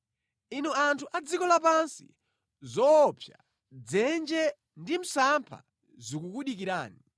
Inu anthu adziko lapansi, zoopsa, dzenje ndi msampha zikukudikirani.